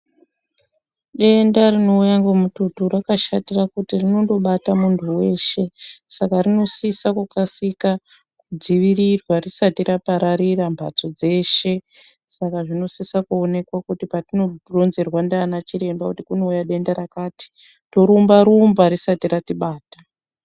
Denda rinouya ngemututu rakashatira kuti rinondobata muntu weshe saka rinosise kukasika kudzivirirwa risati rapararira mbatso dzeshe saka zvinosisa kuonekwa kuti patinoronzerwa ndiana chiremba kuti kunouya denda rakati torumba rumba risati ratibata